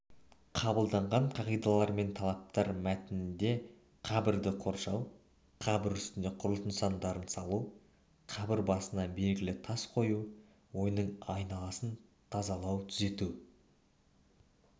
қабылданған қағидалар мен талаптар мәтінінде қабірді қоршау қабір үстіне құрылыс нысандарын салу қабір басына белгі тас қою оның айналасын тазалау түзету